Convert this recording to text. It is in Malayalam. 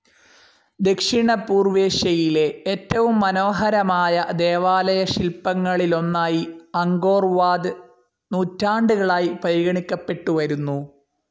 ദക്ഷിണപൂർവേഷ്യയിലെ ഏറ്റവും മനോഹരമായ ദേവാലയശില്പങ്ങളിലൊന്നായി അങ്കോർവാത് നൂറ്റാണ്ടുകളായി പരിഗണിക്കപ്പെട്ടുവരുന്നു.